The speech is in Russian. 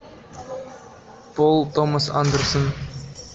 пол томас андерсон